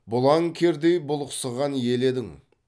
бұлаң кердей бұлықсыған ел едің